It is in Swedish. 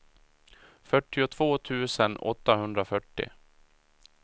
fyrtiotvå tusen åttahundrafyrtio